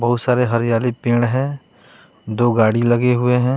बहुत सारे हरियाली पेड़ है दो गाड़ी लगे हुए हैं।